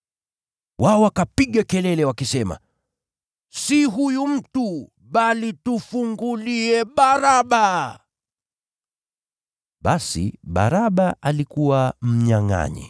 Wao wakapiga kelele wakisema, “Si huyu mtu, bali tufungulie Baraba!” Yule Baraba alikuwa mnyangʼanyi.